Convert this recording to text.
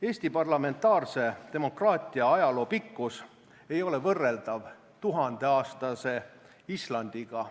Eesti parlamentaarse demokraatia ajaloo pikkus ei ole võrreldav tuhandeaastase Islandiga.